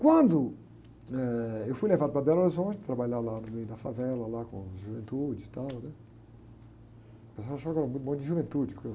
Quando, eh, eu fui levado para Belo Horizonte, trabalhar lá no meio da favela, lá, com juventude e tal, né? O pessoal achava que eu era muito bom de juventude, porque